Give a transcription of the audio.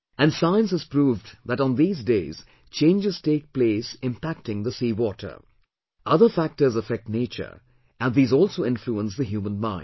And science has proved that on these days changes take place impacting the seawater; other factors affect nature and these also influence the human mind